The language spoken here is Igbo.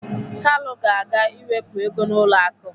Kalu ga-aga ịwepụ ego n'ụlọ akụ